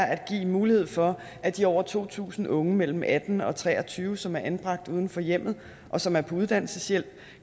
at give mulighed for at de over to tusind unge mellem atten og tre og tyve år som er anbragt uden for hjemmet og som er på uddannelseshjælp